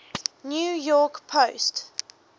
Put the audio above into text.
new york post